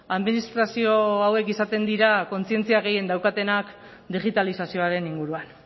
administrazio hauek izaten dira kontzientzia gehien daukatenak digitalizazioaren inguruan